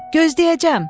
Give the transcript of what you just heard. Gözləyəcəm.